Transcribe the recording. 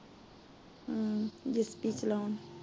ਹਮ ਦਿਤੀ ਚਲਾਉਣ